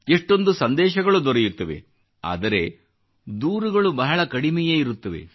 ಎಷ್ಟೊಂದು ಸಂದೇಶಗಳು ದೊರೆಯುತ್ತವೆ ಆದರೆ ದೂರುಗಳು ಬಹಳ ಕಡಿಮೆಯೇ ಇರುತ್ತವೆ